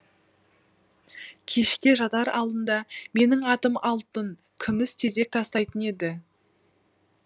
кешке жатар алдында менің атым алтын күміс тезек тастайтын еді